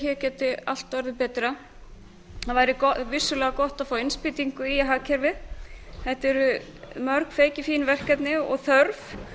hér gæti allt orðið betra það væri vissulega gott að fá innspýtingu í hagkerfið þetta eru mörg feikifín verkefni og þörf